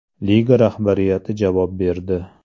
Liga rahbariyati javob berdi.